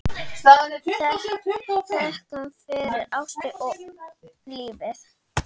Þökkum fyrir ástina og lífið.